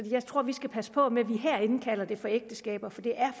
jeg tror vi skal passe på med herinde at kalde det for ægteskaber for det er